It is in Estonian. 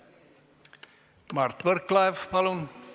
Mart Võrklaev, palun!